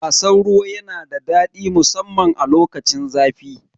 Wasan ruwa yana da daɗi musamman a lokacin zafi.